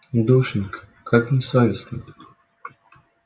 душенька как не совестно